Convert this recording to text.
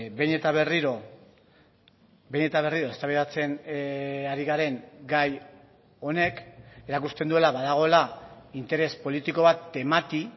behin eta berriro behin eta berriro eztabaidatzen ari garen gai honek erakusten duela badagoela interes politiko bat temati